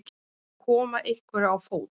Að koma einhverju á fót